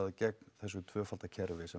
gegn þessu tvöfalda kerfi sem